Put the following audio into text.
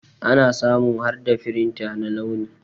Ana samun harda firinta na launi.